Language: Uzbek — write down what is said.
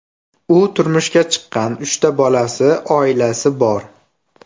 U turmushga chiqqan, uchta bolasi, oilasi bor.